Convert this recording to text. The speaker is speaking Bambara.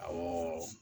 Awɔ